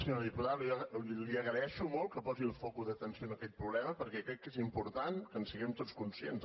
senyora diputada li agraeixo molt que posi el focus d’atenció en aquest problema perquè crec que és important que en siguem tots conscients